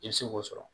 I bɛ se k'o sɔrɔ